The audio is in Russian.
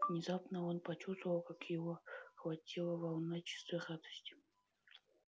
внезапно он почувствовал как его охватила волна чистой радости